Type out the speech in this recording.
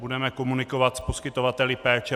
Budeme komunikovat s poskytovateli péče.